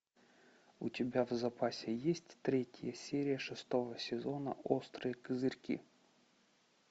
у тебя в запасе есть третья серия шестого сезона острые козырьки